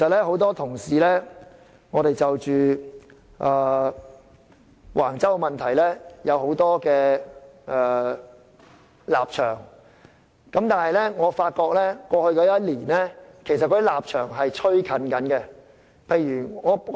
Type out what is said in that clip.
很多同事過去對橫洲問題有很多立場，但在過去一年多，大家的立場已逐漸拉近。